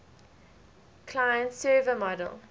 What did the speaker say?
client server model